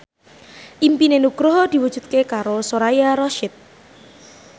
impine Nugroho diwujudke karo Soraya Rasyid